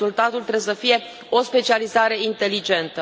Și rezultatul trebuie să fie o specializare inteligentă.